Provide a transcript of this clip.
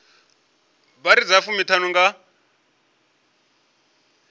vha iri dza fumiṱhanu nga